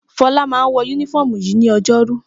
Fọlá máa ń wọ únífọ́ọ́mù yìí ní ọjọ́rú.